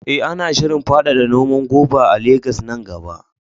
Eh, ana shirin faɗaɗa noman goba a Legas nan gaba.